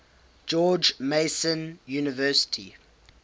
george mason university